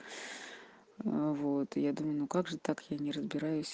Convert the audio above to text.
ну вот я думаю ну как же так я не разбераюсь